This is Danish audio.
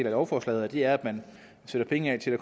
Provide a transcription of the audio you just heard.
af lovforslaget og det er at man sætter penge af til at